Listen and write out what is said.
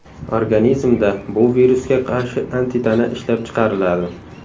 Organizmda bu virusga qarshi antitana ishlab chiqariladi.